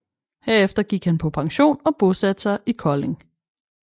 Herefter gik han på pension og bosatte sig i Kolding